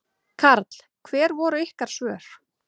Karl: Hver voru ykkar svör?